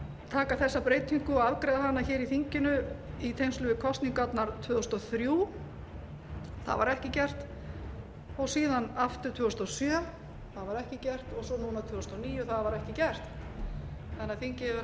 taka þessa breytingu og afgreiða hana í þinginu í tengslum við kosningarnar tvö þúsund og þrjú það var ekki gert síðan aftur tvö þúsund og sjö það var ekki gert og svo núna tvö þúsund og níu það var ekki gert þannig að þingið hefur